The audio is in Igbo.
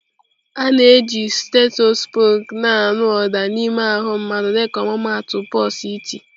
A na-eji stethoskope na-anụ ụda n'ime ahụ mmadụ dịka ọmụmaatụ pulse iti.